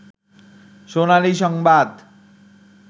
সোনালী সংবাদ